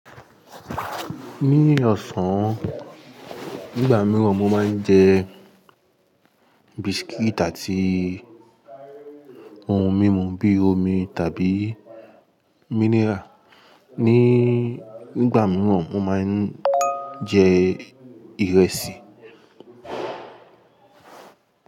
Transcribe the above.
Ní ọ̀sán, nígbà mìíràn mo máa ń jẹ biscuit àti ohun mímu bí i omi tàbí mineral. Ní ìgbà mìíràn, mo máa ń jẹ ìrẹsì.